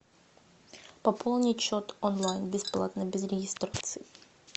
пополнить счет онлайн бесплатно без регистрации